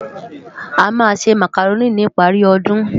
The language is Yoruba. Amá nsé Mákároni nipári òdún